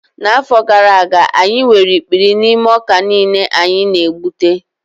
N'afọ gara aga, anyị nwere ikpuri n'ime ọka niile anyị na-egbute